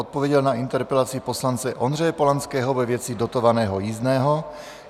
Odpověděl na interpelaci poslance Ondřeje Polanského ve věci dotovaného jízdného.